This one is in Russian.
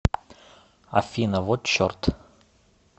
афина вот черт